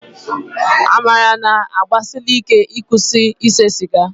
Amara na-agbalisíké ịkwụsị ịse sịga